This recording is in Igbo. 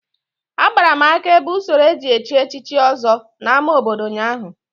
Agbara m aka ebe usoro eji echi echichi Ọzọ n'ámá obodo ụnyaahụ